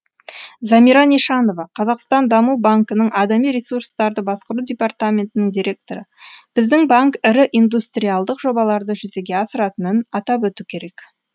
замира нишанова қазақстан даму банкінің адами ресурстарды басқару департаментінің директоры біздің банк ірі индустриалдық жобаларды жүзеге асыратынын атап өту керек